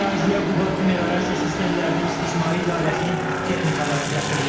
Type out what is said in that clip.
Əraziyə Quba Su Medorasiya sistemlərinin İstismarı İdarəsinin texnikaları gətirilib.